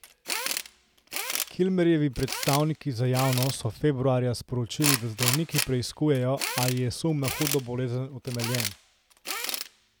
Kilmerjevi predstavniki za javnost so februarja sporočili, da zdravniki preiskujejo, ali je sum na hudo bolezen utemeljen.